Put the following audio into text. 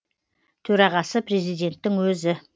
төрағасы президенттің өзі